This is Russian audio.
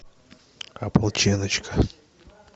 ополченочка